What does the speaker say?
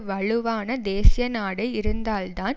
வலுவான தேசிய நாடு இருந்தால் தான்